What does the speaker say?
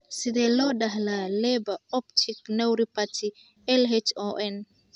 Sidee loo dhaxlaa Leber optic neuropathy (LHON)?